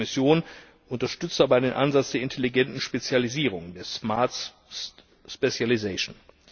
Die Kommission unterstützt dabei den Ansatz der intelligenten Spezialisierung, der smart specialisation